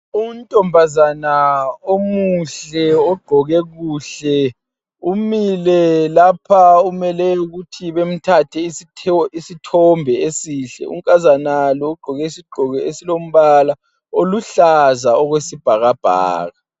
Untombaza omuhle ogqoke kuhle imile lapha umele ukuthi bemthathe isithombe isihle unkazana lo ugqoke isigqoko esiluhlaza okwesibhakabhaka